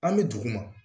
An bɛ dugu ma